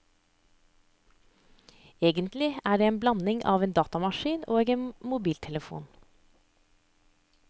Egentlig er den en blanding av en datamaskin og en mobiltelefon.